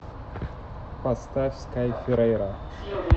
поставь скай ферейра